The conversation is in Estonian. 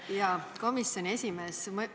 Hea komisjoni esimees!